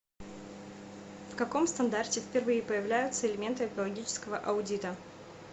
в каком стандарте впервые появляются элементы экологического аудита